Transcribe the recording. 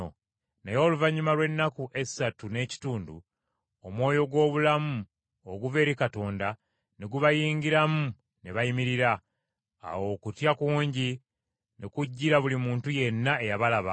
Naye oluvannyuma lw’ennaku essatu n’ekitundu omwoyo gw’obulamu oguva eri Katonda ne gubayingiramu ne bayimirira. Awo okutya kungi ne kujjira buli muntu yenna eyabalaba.